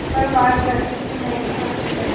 पर मानवृद्वि की महँगी वस्तु है